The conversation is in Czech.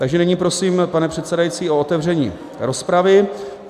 Takže nyní prosím, pane předsedající, o otevření rozpravy.